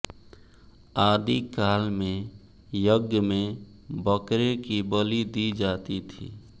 आदि काल में यज्ञ में बकरे की बलि दी जाती थी